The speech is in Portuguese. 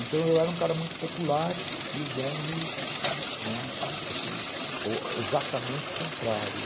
Então eu era um cara muito popular e o Dong, né, assim, exatamente o contrário.